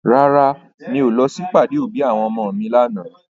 Rárá, mi ò lọ sí ìpàdé òbí àwọn ọmọ mi lànà.